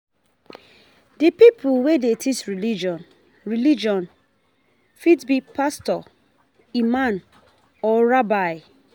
Di pipo wey dey teach religion religion fit be pastor, imam or rabbi